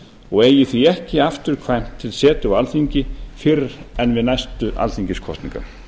og eigi því ekki afturkvæmt til setu á alþingi fyrr en við næstu alþingiskosningar